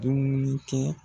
Dimuni kɛ